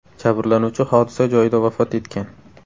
Jabrlanuvchi hodisa joyida vafot etgan.